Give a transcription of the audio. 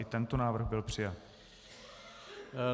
I tento návrh byl přijat.